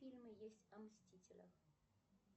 фильмы есть о мстителях